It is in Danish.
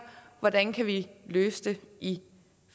hvordan kan vi løse det i